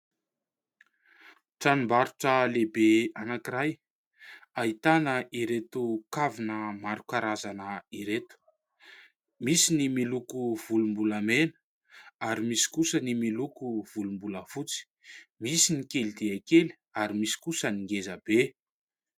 Tranombarotra lehibe anankiray ahitana ireto kavina maro karazana ireto : misy ny miloko volombolamena ary misy kosa ny miloko volombolafotsy, misy ny kely dia kely ary misy kosa ny ngeza be.